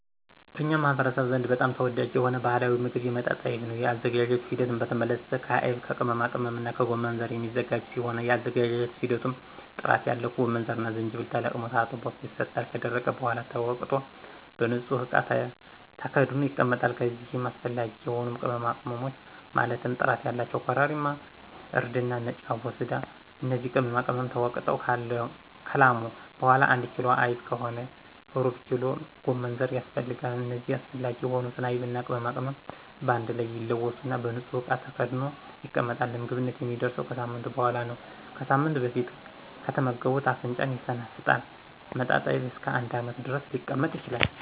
በኛ ማህበረሰብ ዘንድ በጣም ተወዳጅ የሆነ ባህላዊ ሞግብ መጣጣይብ ነው የአዘገጃጀቱ ሂደት በተመለከተ ከአይብ ከቅመማቅመምና ከጎመንዘር የሚዘጋጅ ሲሆን የአዘገጃጀት ሂደቱም ጥራት ያለው ጎመንዘርና ጅጅብል ተለቅሞ ታጥቦ ይሰጣል ከደረቀ በሗላ ተወቅጦ በንጹህ እቃ ተከድኖ ይቀመጣል ከዚይም አሰፈላጊ የሆኑ ቅመማቅመሞች ማለትም ጥራት ያላቸው ኮረሪማ :እርድና ነጭ አቦስዳ እነዚህ ቅመማቅመም ተወግጠው ከላሙ በሗላ አንድ ኪሎ አይብ ከሆነ ሩብኪሎ ጎመንዘር ያስፈልጋል እነዚህ አስፈላጊ የሆኑትን አይብና ቅመማቅመም በአንድ ላይ ይለወሱና በንጹህ እቃ ተከድኖ ይቀመጣል ለምግብነት የሚደርሰው ከሳምንት በሗላ ነው ከሳምንት በፊት ከተመገቡት አፍንጫን ይሸነፍጣል መጣጣይብ እስከ አንድ አመት ድረስ ሊቀመጥ ይችላል